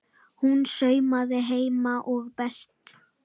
Hún saumaði heima er best.